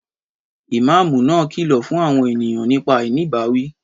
Ìmáàmù náà kìlọ̀ fún àwọn ènìyàn nípa àìní ìbáwí